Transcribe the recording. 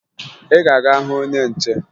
Ị ga-aga hụ onye nche!